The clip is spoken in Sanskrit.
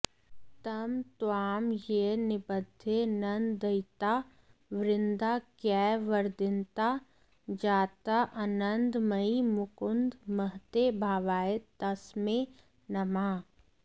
तं त्वां येन निबध्य नन्ददयिता वृन्दारकैर्वन्दिता जाताऽऽनन्दमयी मुकुन्द महते भावाय तस्मै नमः